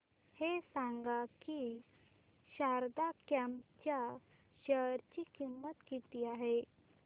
हे सांगा की शारदा क्रॉप च्या शेअर ची किंमत किती आहे